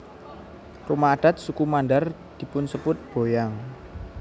Rumah adat suku Mandar dipunsebut boyang